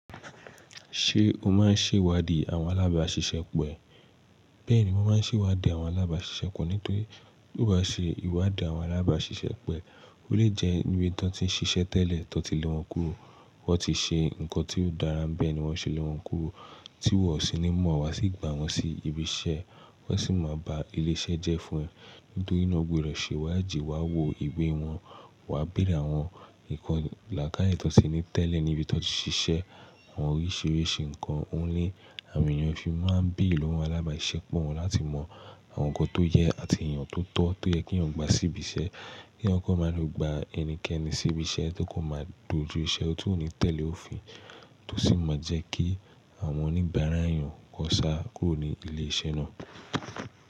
Ṣé o máa ń ṣèwádìí àwọn alábàṣiṣẹ́ po ẹ́? Bẹ́ẹ̀ni, mo máa ń ṣèwádìí àwọn alábàṣiṣẹ́ po nítorí bí o bá se ìwádìí àwọn alábàṣiṣẹ́ pẹ́, o lè jẹ́ níbi tan ti ń ṣiṣẹ́ tẹ́lẹ̀, tan ti lé wọn kúrò, wọ́n ti ṣe nǹkan tí ó dára ń bẹ́ẹ̀ ni wọ́n ṣe lé wọn kúrò, tí wọn o sì ní mọ̀ wa sì gba wọn sí ibi iṣẹ́, wọ́n sì máa ba ilé iṣẹ́ jẹ́ fún ẹ. Nítorí náa o gbòdo ṣe iwájì wá wo ìwé wọn, wá bèèrè àwọn ǹkan làká ẹ́ tí wọ́n ti ní tẹ́lẹ̀ níbi tí wọ́n ti ń ṣiṣẹ́, àwọn oríṣiríṣi ǹkan ó n ni àwon ẹniyàn fi máa ń béèrè lọ́wọ́ alábàṣiṣẹ́ pọ̀, wọ́n láti mọ. Àwọn nǹkan tó yẹ àti èèyàn tó tọ́ tó yẹ kí èèyàn gba sí ibi iṣẹ́. Kí eyan kan máa lo gba ẹnikẹ́ni sí ibi iṣẹ́ tó kọ̀ máa dojú iṣẹ́, ti ó nì tẹ́lẹ̀ òfin, tó sì máa jẹ́ kí àwọn oníbàárà èèyàn kó ṣá kúrò ní ilé iṣẹ́ náà.